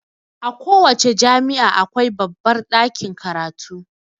A ko wace jami'a akwai babbar ɗakin karatu.